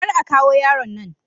Kar a kawo yaron nan.